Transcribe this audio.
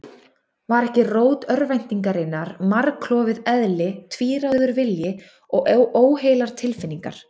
Var ekki rót örvæntingarinnar margklofið eðli, tvíráður vilji og óheilar tilfinningar?